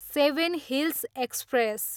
seven hills express